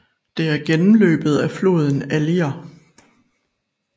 Det er gennemløbet af floden Allier